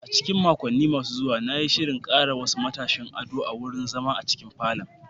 A cikin makonni masu zuwa, na yi shirin ƙara wasu matashin ado a wurin zama a cikin falon.